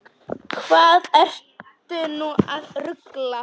Hvað ertu nú að rugla!